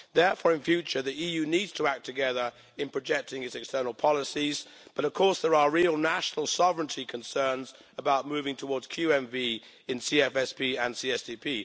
Therefore, in future the EU needs to act together in projecting its external policies, but of course, there are real national sovereignty concerns about moving towards QMV in CFSP and CSDP.